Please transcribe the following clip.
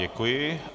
Děkuji.